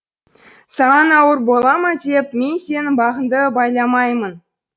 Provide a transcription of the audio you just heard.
саған ауыр бола ма деп мен сенің бағыңды байламаймын